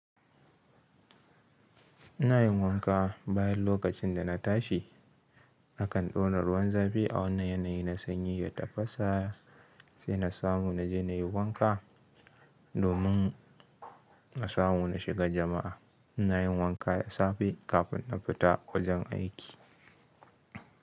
Ina yin wanka bayan lokacin da na tashi. Nakan ɗau na ruwan zafi a wanne yanayi na sanyi ya tafasa sai na samu na je na yi wanka domin na samu na shiga jama'a. Ina yin wanka da safe kafin na fita wajen aiki.